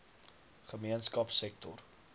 gemeenskapsektor